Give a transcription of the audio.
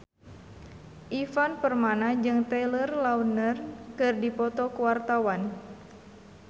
Ivan Permana jeung Taylor Lautner keur dipoto ku wartawan